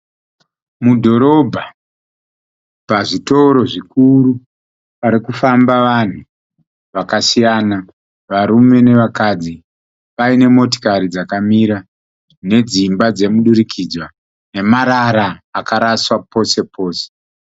Mudhorobha pazvitoro zvikuru pari kufamba vanhu vakasiyana varume nevakadzi. Paine motokari dzakamira nedzimba dzemudurikidzwa nemarara akaraswa pose pose.